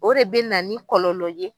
O de bɛ na ni kɔlɔlɔ ye.